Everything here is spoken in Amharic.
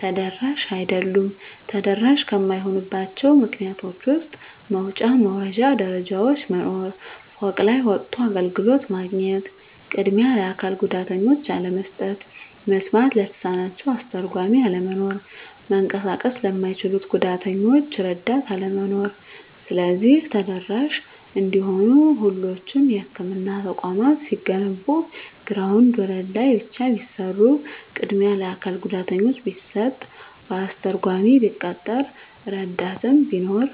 ተደራሽ አይደሉም። ተደራሽ ከማይሆኑባቸው ምክንያቶች ውስጥ መውጫ መውረጃ ደረጃዎች መኖር፤ ፎቅ ላይ ወጥቶ አገልግሎት ማግኘት፤ ቅድሚያ ለአካል ጉዳተኞች አለመስጠት፤ መስማት ለተሳናቸው አስተርጓሚ አለመኖር፤ መንቀሳቀስ ለማይችሉት ጉዳተኞች እረዳት አለመኖር። ስለዚህ ተደራሽ እንዲሆኑ ሁሎቹም የህክምና ተቋማት ሲገነቡ ግራውንድ ወለል ላይ ብቻ ቢሰሩ፤ ቅድሚያ ለአካል ጉዳተኛ ቢሰጥ፤ አስተርጓሚ ቢቀጠር፤ እረዳት ቢኖር።